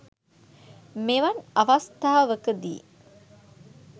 මෙවන් අවස්ථාවකදී